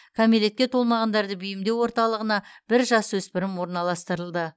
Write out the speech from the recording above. кәмелетке томағандарды бейімдеу орталығына бір жасөспірім орналастырылды